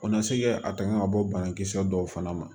O na se kɛ a tanga ka bɔ banakisɛ dɔw fana ma